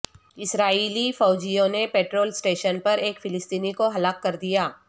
اسرائیلی فوجیوں نے petrol station پر ایک فلسطینی کو ہلاک کر دیا